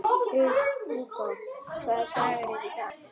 Hugó, hvaða dagur er í dag?